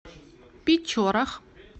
печорах